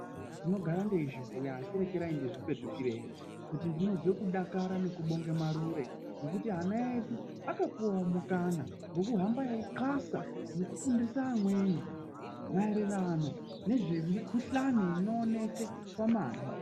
Ndinogara ndeizvibhuya asi regai ndizvipetukire he kuti ndinozwa kudakara nekubonga marure ngekuti ana edu akapuwawo mukana yekuhamba einklasa nekufundisa amweni maererano emikuhlani inooneka pamanhi.